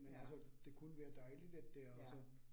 Ja. Ja